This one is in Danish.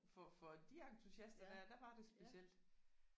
For for de entusisater der der var det specielt